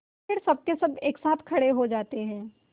फिर सबकेसब एक साथ खड़े हो जाते हैं